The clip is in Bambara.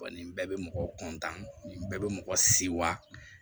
nin bɛɛ bɛ mɔgɔ bɛɛ bɛ mɔgɔ sewa